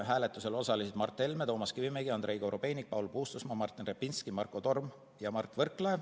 Hääletusel osalesid Mart Helme, Toomas Kivimägi, Andrei Korobeinik, Paul Puustusmaa, Martin Repinski, Marko Torm ja Mart Võrklaev.